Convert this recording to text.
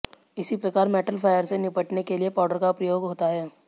इसी प्रकार metal fire से निपटने के लिए पाउडर का प्रयोग होता है